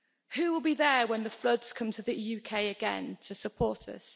Who will be there, when the floods come to the UK again, to support us?